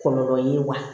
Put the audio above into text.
Kɔlɔlɔ ye wa